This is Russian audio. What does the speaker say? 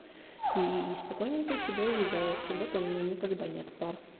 и спокойненько себе уезжаю в субботу у меня никогда нет пар